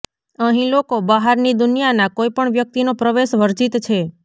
અહીં લોકો બહારની દુનિયાના કોઈપણ વ્યક્તિનો પ્રવેશ વર્જીત છે